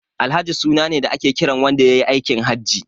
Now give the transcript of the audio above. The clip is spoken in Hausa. Alhaji suna ne da ake kiran wanda yayi aikin Haji.